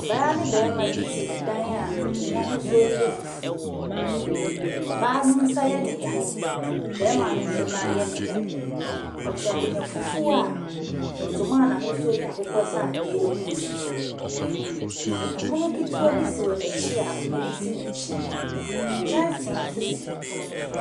Ɔbaa ne bɛɛma bi ti ɛdan a ɛmu ahusuo no yɛ fufuo. Ɔbaa no nsa yɛ no ya, bɛɛma no nso nan yɛ no ya. Wɔte akonnwa fufuo a ɛntoma a nahusuo yɛ akukɔsradeɛ egum. Ɛpono kitiwaa bi si wɔnekyi a akonnwa bi si nekyi. Kyɛnsii so si pono no so .